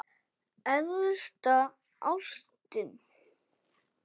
Æðsta ástin blíða!